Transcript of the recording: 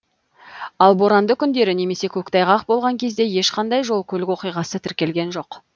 ал боранды күндері немесе көктайғақ болған кезде ешқандай жол көлік оқиғасы тіркелген жоқ